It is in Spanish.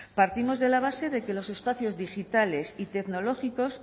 partimos de la base de que los espacios digitales y tecnológicos